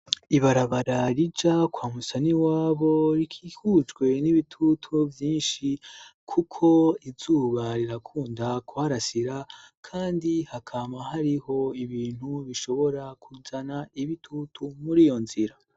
Ibarabara rija kwa Musaniwabo rikihujwe n'ibitutu vyinshi kuko izuba rirakunda kuharasira, kandi hakama hariho ibintu bishobora kuzana ibitutu muri iyo nzira.